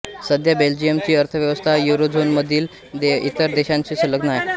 सध्या बेल्जियमची अर्थव्यवस्था युरोझोनमधील इतर देशांशी संलग्न आहे